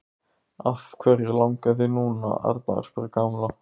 Af hverju langar þig núna, Arnar? spurði Kamilla.